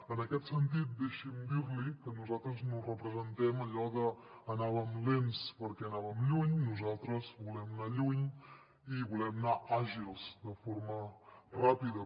en aquest sentit deixi’m dir li que nosaltres no representem allò d’ anàvem lents perquè anàvem lluny nosaltres volem anar lluny i volem anar àgils de forma ràpida